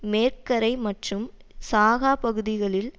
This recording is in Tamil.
மேற்குக்கரை மற்றும் காசா பகுதிகளில்